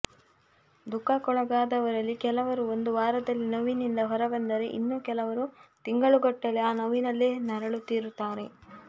ದುಃಖಕ್ಕೊಳಗಾದವರಲ್ಲಿ ಕೆಲವರು ಒಂದು ವಾರದಲ್ಲಿ ನೋವಿನಿಂದ ಹೊರಬಂದರೆ ಇನ್ನು ಕೆಲವರು ತಿಂಗಳುಗಟ್ಟಲೆ ಆ ನೋವಿನಲ್ಲೇ ನರಳುತ್ತಿರುತ್ತಾರೆ